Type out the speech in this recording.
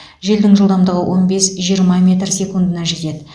желдің жылдамдығы он бес жиырма метр секундына жетеді